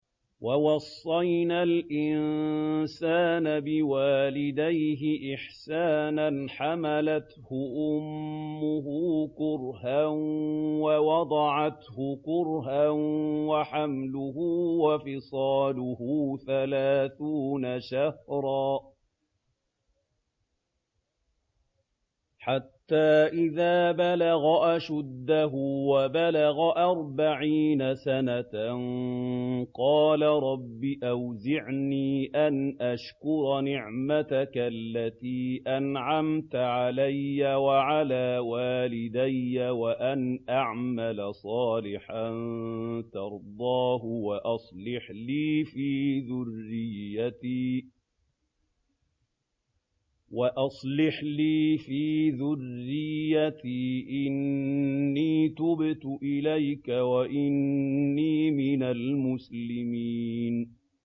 وَوَصَّيْنَا الْإِنسَانَ بِوَالِدَيْهِ إِحْسَانًا ۖ حَمَلَتْهُ أُمُّهُ كُرْهًا وَوَضَعَتْهُ كُرْهًا ۖ وَحَمْلُهُ وَفِصَالُهُ ثَلَاثُونَ شَهْرًا ۚ حَتَّىٰ إِذَا بَلَغَ أَشُدَّهُ وَبَلَغَ أَرْبَعِينَ سَنَةً قَالَ رَبِّ أَوْزِعْنِي أَنْ أَشْكُرَ نِعْمَتَكَ الَّتِي أَنْعَمْتَ عَلَيَّ وَعَلَىٰ وَالِدَيَّ وَأَنْ أَعْمَلَ صَالِحًا تَرْضَاهُ وَأَصْلِحْ لِي فِي ذُرِّيَّتِي ۖ إِنِّي تُبْتُ إِلَيْكَ وَإِنِّي مِنَ الْمُسْلِمِينَ